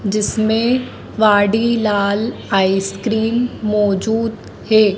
जिसमें वाडीलाल आइसक्रीम मौजूद है।